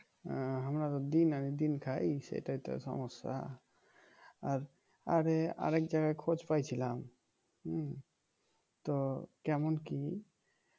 আহ আমরা তো দিন আনি দিন খাই সেটাই তো সমস্যা আর আরে আর এক জায়গায় খোঁজ পাইছিলাম হম তো কেমন কি